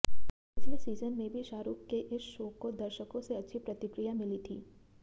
पिछले सीजन में भी शाहरुख के इस शो को दर्शकों से अच्छी प्रतिक्रिया मिली थी